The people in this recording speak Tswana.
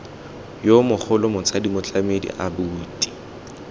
yo mogolo motsadi motlamedi abuti